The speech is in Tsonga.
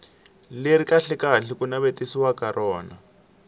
leri kahlekahle ku navetisiwaka rona